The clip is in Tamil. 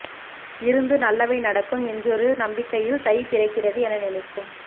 இருந்து நல்லவை நடக்கும் என்றொரு ஒரு நம்பிக்கையில் தை பிறக்கிறது என நினைக்கும்